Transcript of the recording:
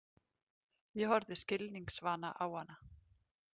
Ég horfði skilningsvana á hana.